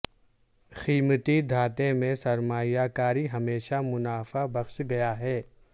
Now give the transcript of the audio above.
قیمتی دھاتیں میں سرمایہ کاری ہمیشہ منافع بخش گیا ہے